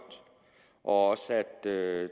og også at